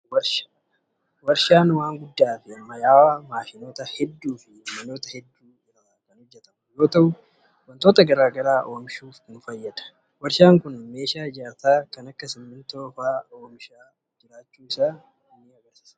Kun warshaa dha. Warshaan waan guddaa fi ammayyawaa maashinoota hedduu fi manoota hedduu irraa kan hojjatamu yoo ta'u, wantoota garaa garaa oomishuuf kan fayyaduu dha. Warshaan kun meeshaa ijaarsaa kan akka simiintoo oomisha.